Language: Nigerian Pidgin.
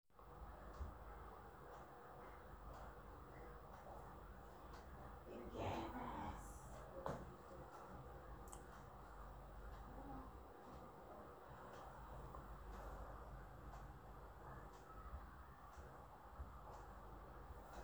“na um big disappointment” di first-time olympian tok inside one um statement wey di french athletics athletics federation post.